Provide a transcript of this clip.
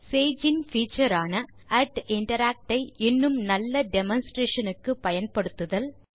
Sage in feature ஆன interact ஐ இன்னும் நல்ல டெமான்ஸ்ட்ரேஷன் க்கு பயன்படுத்துதல்